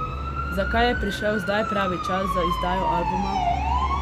Zakaj je prišel zdaj pravi čas za izdajo albuma?